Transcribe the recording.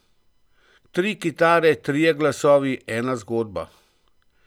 Tri kitare, trije glasovi, ena zgodba.